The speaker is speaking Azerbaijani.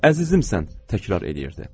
Əzizimsən, təkrar eləyirdi.